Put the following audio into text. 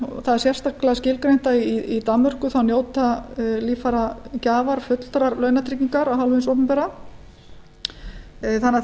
það er sérstaklega skilgreint að í danmörku njóta líffæragjafar fullrar launatryggingar af hálfu hins opinbera þannig að